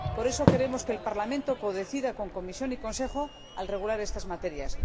Por eso, queremos que el Parlamento codecida con la Comisión y el Consejo al regular estas materias.